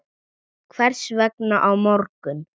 Hvers vegna á morgun?